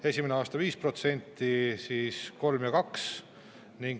Esimesel aastal 5% 3% ja 2%.